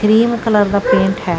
Cream colour ਦਾ paint ਹੈ।